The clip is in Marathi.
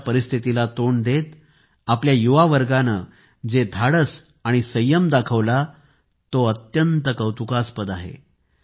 अशा परिस्थितीला तोंड देत आपल्या युवा वर्गाने जे धाडस आणि संयम दाखविला तो अत्यंत कौतुकास्पद आहे